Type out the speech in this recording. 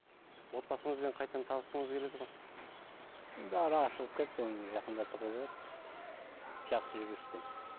отбасыңызбен қайтадан табысқыңыз келеді ғой енді ара ашылып кетті оны жақындатуға болады жақсы жүріспен